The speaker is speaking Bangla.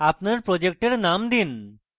আপনার project name দিন